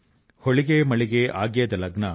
హొళిగె మళిగె ఆగ్యేద లగ్న